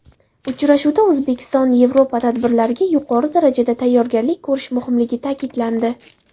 Uchrashuvda O‘zbekistonYevropa tadbirlariga yuqori darajada tayyorgarlik ko‘rish muhimligi ta’kidlandi.